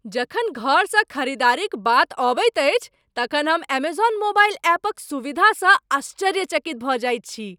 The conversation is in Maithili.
जखन घरसँ खरीदारीक बात अबैत अछि तखन हम एमेजौन मोबाइल ऐपक सुविधासँ आश्चर्यचकित भऽ जाइत छी।